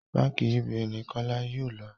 bánkì UBA ni kola yóò ló